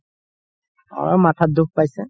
অলপ মাথাত দুখ পাইছে